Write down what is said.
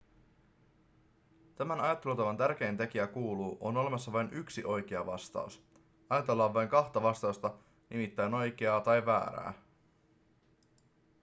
tämän ajattelutavan tärkein tekijä kuuluu on olemassa vain yksi oikea vastaus ajatellaan vain kahta vastausta nimittäin oikeaa tai väärää